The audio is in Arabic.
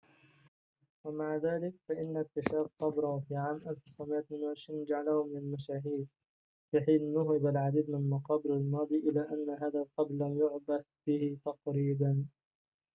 ومع ذلك فإن اكتشاف قبره في عام 1922 جعله من المشاهير في حين نُهب العديد من مقابر الماضي إلا أن هذا القبر لم يُعبث به تقريباً